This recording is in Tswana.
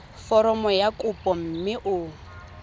foromo ya kopo mme o